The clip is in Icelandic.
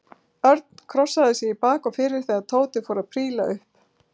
Örn krossaði sig í bak og fyrir þegar Tóti fór að príla upp.